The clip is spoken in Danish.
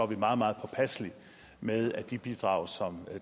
vi meget meget påpasselige med at de bidrag som